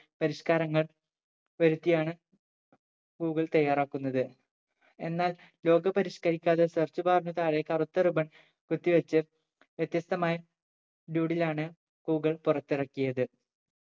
പരിഷ്‌കാരങ്ങൾ വരുത്തിയാണ് ഗൂഗിൾ തയ്യാറാക്കുന്നത് എന്നാൽ logo പരിഷ്‌ക്കരിക്കാതെ search bar നു താഴെ കറുത്ത ribbon കുത്തിവെച്ച് വ്യത്യസ്തമായി doodle ആണ് ഗൂഗിൾ പുറത്തിറക്കിയത്